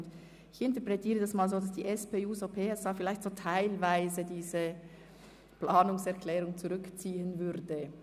Ich interpretiere dieses so, dass die SP-JUSO-PSA-Fraktion ihre Planungserklärung teilweise zurückziehen würde.